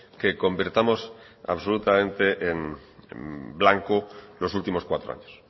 que convirtamos absolutamente en blanco los últimos cuatro años